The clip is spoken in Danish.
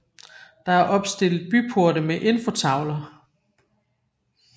Der er opstillet byporte med infotavler